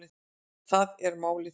Þar er málið.